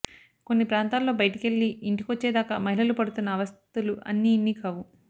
కొన్ని ప్రాంతాల్లో బయటికెళ్లి ఇంటికొచ్చే దాకా మహిళలు పడుతున్న అవస్థలు అన్నీ ఇన్నీ కావు